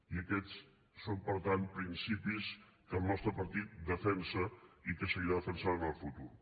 i aquests són per tant principis que el nostre partit defensa i que seguirà defensant en el futur